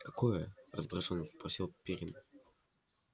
какое раздражённо спросил пиренн